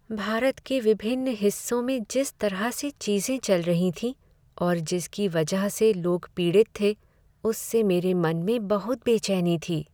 भारत के विभिन्न हिस्सों में जिस तरह से चीज़ें चल रही थीं और जिसकी वजह से लोग पीड़ित थे, उससे मेरे मन में बहुत बेचैनी थी।